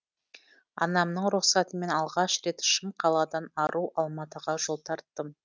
анамның рұқсатымен алғаш рет шым қаладан ару алматыға жол тарттым